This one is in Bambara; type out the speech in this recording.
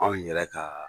Anw yɛrɛ ka